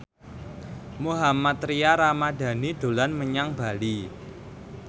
Mohammad Tria Ramadhani dolan menyang Bali